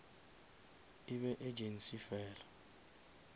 e be agency fela